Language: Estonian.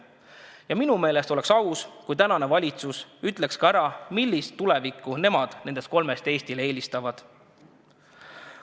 Ja minu meelest oleks aus, kui tänane valitsus ütleks välja, millist tulevikku nemad nendest kolmest Eestile eelistavad.